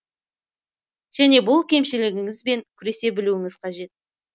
және бұл кемшілігіңіз бен күресе білуіңіз қажет